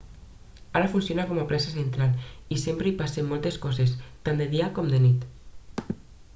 ara funciona com a plaça central i sempre hi passen moltes coses tant de dia com de nit